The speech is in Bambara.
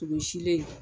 Toro silen